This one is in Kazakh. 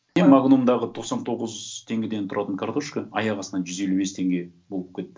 и магнумдағы тоқсан тоғыз теңгеден тұратын картошка аяқ астынан жүз елу бес теңге болып кетті